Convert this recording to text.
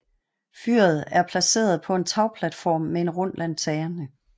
Fyret er placeret på en tagplatform med en rund lanterne